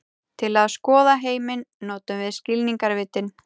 Til að skoða heiminn notum við skilningarvitin.